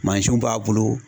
Mansinw b'a bolo